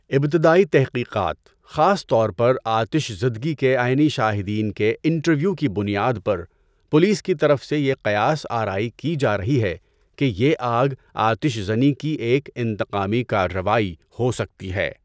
ابتدائی تحقیقات، خاص طور پر آتش زدگی کے عینی شاہدین کے انٹرویو کی بنیاد پر، پولیس کی طرف سے یہ قیاس آرائی کی جا رہی ہے کہ یہ آگ آتش زنی کی ایک انتقامی کارروائی ہو سکتی ہے۔